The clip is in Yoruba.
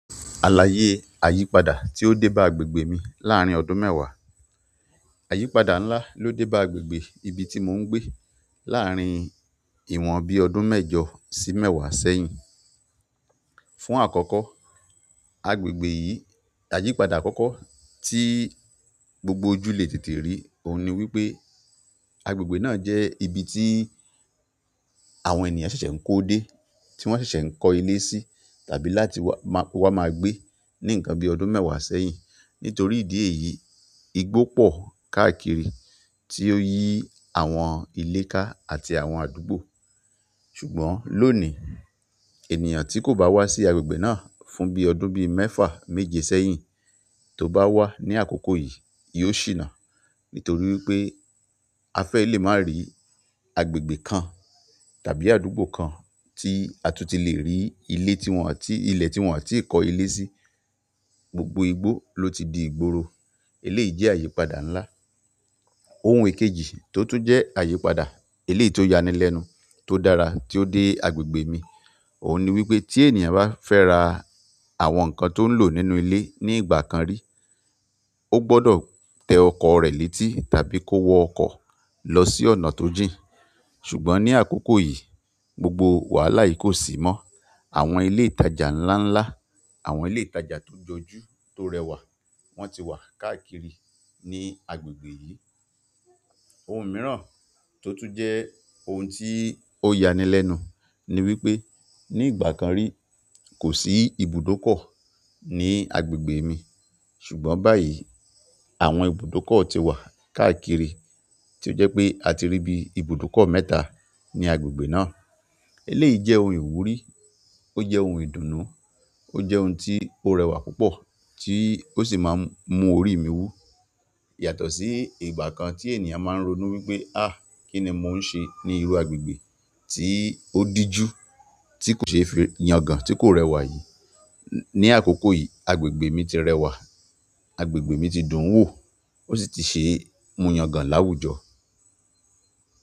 Àlàyé àyípadà tí ó dé bá agbègbè mi láàárín ọdún mẹ́wàá. Àyípadà ńlá ló dé bá agbègbè ibi tí mò ń gbé láàárín ìwọ̀n bí ọdún mẹ́jọ sí mẹ́wàá sẹ́yìn. Fún àkọ́kọ́, agbègbè yìí àyípadà àkọ́kọ́ tí gbogbo ojú le tètè rí òun ni wípé agbègbè náà jẹ́ ibi tí àwọn ènìyàn ṣẹ̀ṣẹ̀ ń kó dé, tí wọ́n ṣẹ̀ṣẹ̀ ń kọ ilé sí tàbí láti wá, máa, kó wá máa gbé níǹkan bí ọdún mẹ́wàá sẹ́yìn. Nítorí ìdí èyí, igbó pọ̀ káàkiri tí ó yí àwọn ilé ká àti àwọn àdúgbò. Ṣùgbọ́n lónìí ènìyàn tí kò bá wá sí agbègbè náà fún bí ọdún bí mẹ́fà méje sẹ́yìn tó bá wá ní àkókò yìí, yóò ṣìnà. Nítorí wípé a fẹ́ lè máa rí agbègbè kan tàbí àdúgbò kan tí a tún ti le rí ilé tí wọ́n àti ilẹ̀ tí wọ́n àti kó ilé sí. Gbogbo igbó ló ti di ìgboro. Eléyìí jẹ́ àyípadà ńlá. Ohun èkejì tó tún jẹ́ àyípadà eléyìí tó ya ni lẹ́nu tó dára tí ó dé agbègbè mi òun ni wípé tí ènìyàn bá fẹ́ ra àwọn nǹkan tó ń lò nínú ilé ní ìgbà kan rí, ó gbọ́dọ̀ tẹ ọkọ̀ rẹ létí tàbí kó wọ ọkọ̀ lọ sí ọ̀nà tó jìn. Ṣùgbọ́n ní àkókò yìí, gbogbo wàhálà yìí kò sí mọ́. Àwọn ilé ìtajà ńlá ńlá, àwọn ilé ìtajà tó jọjú tó rẹwà wọ́n ti wà káàkiri ní agbègbè yìí. Ohun mìíràn tó tún jẹ́ ohun tí ó ya ni lẹ́nu ni wípé ní ìgbà kan rí kò sí ibùdókọ̀ ní agbègbè mi. Ṣùgbọ́n báyìí àwọn ibùdókọ̀ ti wà káàkiri tí ó jẹ́ pé a ti rí bí ibùdókọ̀ mẹ́ta ní agbègbè náà. Eléyìí jẹ́ ohun ìwúrí, ó jẹ́ ohun ìdùnnú, ó jẹ́ ohun tí ó rẹwà púpọ̀ tí ó sì máa ń mú orí mi wú. Yàtọ̀ sí ìgbà kan tí ènìyàn máa ń ronú wípé "áà, kí ni mò ń ṣe ní irú agbègbè tí ó dijú, tí kò ṣe é fi yangàn, tí kò rẹwà yìí?" Ni àkókò yìí agbègbè mi ti rẹwà, agbègbè mi ti dùn wò ó sì ti ṣe mú yangàn láwùjọ.